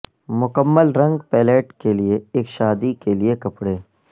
مکمل رنگ پیلیٹ کے لئے ایک شادی کے لئے کپڑے